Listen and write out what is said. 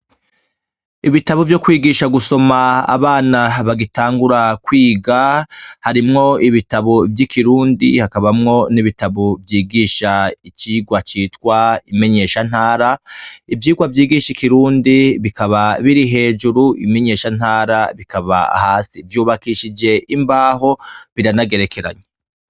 Ibitabo vyo kwigisha gusoma abana bagitangura kwiga harimwo ibitabo vy'ikirundi hakabamwo n'ibitabo vyigisha icirwa citwa imenyeshantara ivyirwa vyigisha ikirundi bikaba biri hejuru imenyeshantara bikaba hasi vyubakishije imbaho biranagerekeranye.